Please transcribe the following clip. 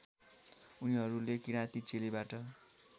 उनीहरूले किराती चेलीबाट